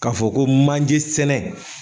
K'a fɔ ko manjesɛnɛ